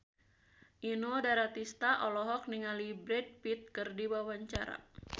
Inul Daratista olohok ningali Brad Pitt keur diwawancara